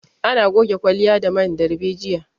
Ana goge kwalliya da man darbejiya